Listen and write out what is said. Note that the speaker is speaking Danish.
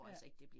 Ja